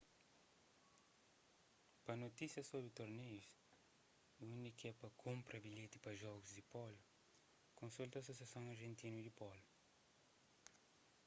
pa notísias sobri torneius y undi k-é pa kunpra bilheti pa jogus di pólo konsulta asosiason argentinu di pólu